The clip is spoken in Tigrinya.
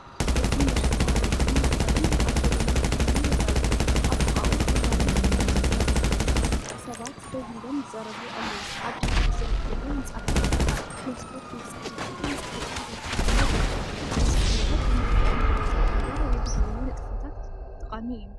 እዚ መሸጠ ኣባጊዕን ኣጣልን ኣብ ጎደና ከተማ ይረኣዩ። ኣብ ጥቓኡ ሕብራዊ ክዳን ዝተኸድኑ ሰባት ደው ኢሎም ይዛረቡ ኣለዉ። ኣብ ድሕሪት ዝርከቡ ህንጻታትን መስኮት ቤት ጽሕፈታትን ንጥፈታት ከተማታት ይገልጹ። እዚ ኩነታት ብመልክዕ መዓልቲ ዕዳጋ ወይ ባህላዊ ንጥፈታት ጠቓሚ እዩ።